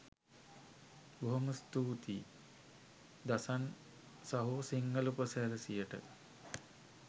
බොහොම ස්තූතියි දසන් සහෝ සිංහල උපසිරැසියට